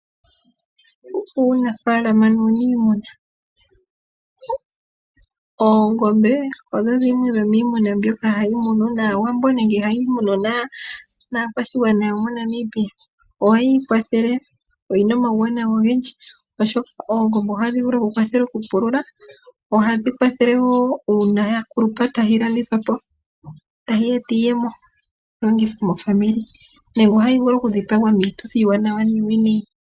Uunafaalama nuuniimuna Oongombe odho dhimwe dhomiimuna mbyoka hayi munwa kAawambo nenge hayi munwa kaakwashigwana yomoNamibia, opo yi ikwathele. Oyi na omauwanawa ogendji, oshoka oongombe ohadhi vulu okukwathela okupulula, ohadhi kwathele wo uuna ya kulupa tayi landithwa po e tayi gandja iiyemo yi longithwe mezimo. Ohayi vulu okudhipagwa piituthi iiwanawa niiwinayi.